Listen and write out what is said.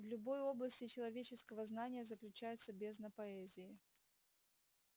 в любой области человеческого знания заключается бездна поэзии